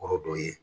Kɔrɔ dɔ ye